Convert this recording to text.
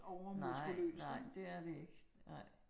Nej, nej, det er det ikke nej